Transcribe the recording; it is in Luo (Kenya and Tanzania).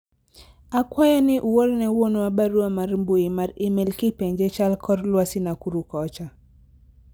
akwayo ni uorne wuonwa barua mar mbui mar email kipenje chal kor lwasi Nakuru kocha